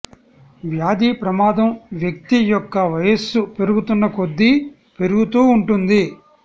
వ్యాధి ప్రమాదం వ్యక్తి యొక్క వయస్సు పెరుగుతున్న కొద్దీ పెరుగుతూ ఉంటుంది